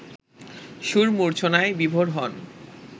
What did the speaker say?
সুর মূর্ছনায় বিভোর হন